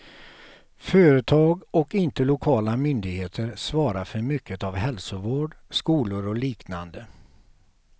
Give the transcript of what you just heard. Företag och inte lokala myndigheter svarar för mycket av hälsovård, skolor och liknande.